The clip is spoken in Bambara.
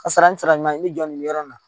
Kasara in sara ɲuman ye ne jɔ nin bɛ yɔrɔ in na